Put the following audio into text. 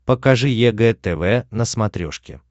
покажи егэ тв на смотрешке